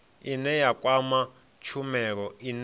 ine ya kwama tshumelo ine